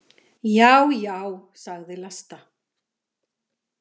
Já já, sagði Vlasta.